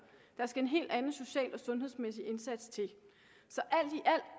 der skal en helt anden social og sundhedsmæssig indsats til